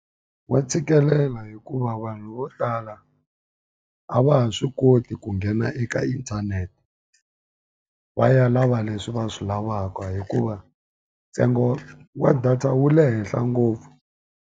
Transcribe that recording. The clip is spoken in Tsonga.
Wa tshikelela hikuva vanhu vo tala a va ha swi koti ku nghena eka inthanete, va ya lava leswi va swi lavaka. Hikuva ntsengo wa data wu le henhla ngopfu.